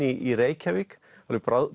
í Reykjavík alveg